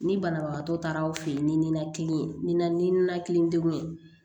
Ni banabagatɔ taara aw fɛ yen ni ninaki ni na ni ninakili degun ye